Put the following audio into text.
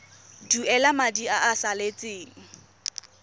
duela madi a a salatseng